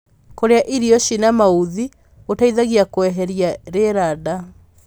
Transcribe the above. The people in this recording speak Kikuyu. Kurĩa irio ciĩna mauthi gũteithagia kueherĩa rĩera ndaa